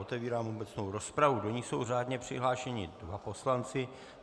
Otevírám obecnou rozpravu, do níž jsou řádně přihlášeni dva poslanci.